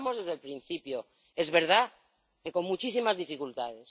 lo estamos desde el principio, es verdad que con muchísimas dificultades